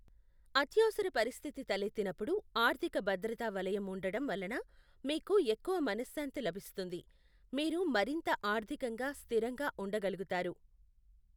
అత్యవసర పరిస్థితి తలెత్తినప్పుడు ఆర్థిక భద్రతా వలయం ఉండటం వలన మీకు ఎక్కువ మనశ్శాంతి లభిస్తుంది, మీరు మరింత ఆర్థికంగా స్థిరంగా ఉండగలుగుతారు.